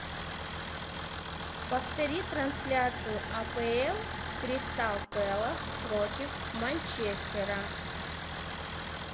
повтори трансляцию апл кристал пэлас против манчестера